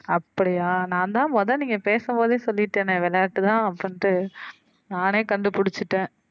அப்படியா நான் தான் மொத நீங்க பேசும் போதே சொல்லிட்டேனே விளையாட்டு தான் அப்படின்ட்டு நானே கண்டு புடிச்சுட்டேன்.